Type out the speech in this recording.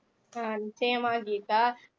அஹ் நிச்சயமா கீதா